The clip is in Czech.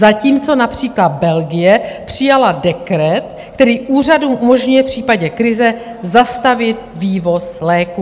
Zatímco například Belgie přijala dekret, který úřadům umožňuje v případě krize zastavit vývoz léků.